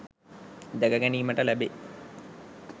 දැක ගැනීමට ලැබේ.